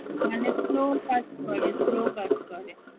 মানে slow কাজ করে slow কাজ করে